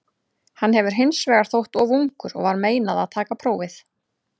Hann hefur hins vegar þótt of ungur og var meinað að taka prófið.